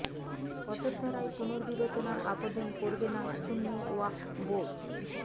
অযোধ্যা রায় পুনর্বিবেচনার আবেদন করবে না সুন্নি ওয়াকফ বোর্ড